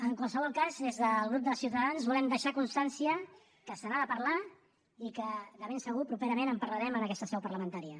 en qualsevol cas des del grup de ciutadans volem deixar constància que se n’ha de parlar i que de ben segur properament en parlarem en aquesta seu parlamentària